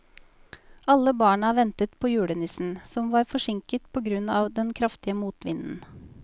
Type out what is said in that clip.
Alle barna ventet på julenissen, som var forsinket på grunn av den kraftige motvinden.